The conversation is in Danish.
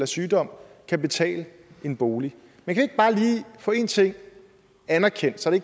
sygdom kan betale en bolig man kan ikke bare lige få en ting anerkendt så det